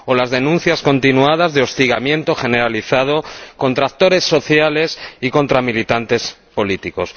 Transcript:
O las denuncias continuadas de hostigamiento generalizado contra actores sociales y contra militantes políticos.